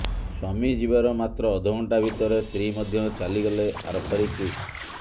ସ୍ୱାମୀ ଯିବାର ମାତ୍ର ଅଧଘଣ୍ଟା ଭିତରେ ସ୍ତ୍ରୀ ମଧ୍ୟ ଚାଲିଗଲେ ଆରପାରିକୁ